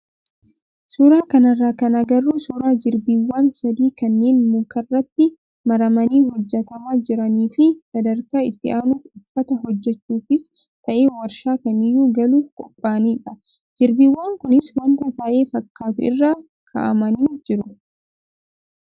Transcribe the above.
Suuraa kanarraa kan agarru suuraa jirbiiwwan sadii kanneen mukarratti maramanii hojjatamaa jiranii fi sadarkaa itti aanuuf uffata hojjachuufis ta'ee warshaa kamiyyuu galuuf qophaa'anidha. Jirbiiwwan kunis wanta tayee fakkaatu irra kaa'amanii jiru.